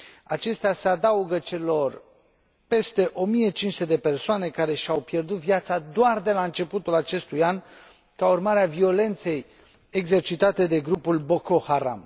Acestea se adaugă celor peste 1500 de persoane care și au pierdut viața doar de la începutul acestui an, ca urmare a violenței exercitate de grupul Boko Haram.